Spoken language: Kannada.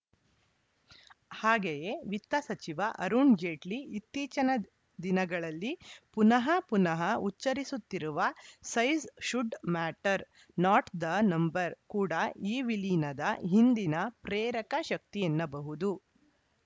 ಹಾಗೆಯೇ ವಿತ್ತ ಸಚಿವ ಅರುಣ್‌ ಜೇಟ್ಲಿ ಇತ್ತೀಚಿನ ದಿನಗಳಲ್ಲಿ ಪುನಃ ಪುನಃ ಉಚ್ಚರಿಸುತ್ತಿರುವ size should matter not the number ಕೂಡಾ ಈ ವಿಲೀನದ ಹಿಂದಿನ ಪ್ರೇರಕ ಶಕ್ತಿ ಎನ್ನಬಹುದು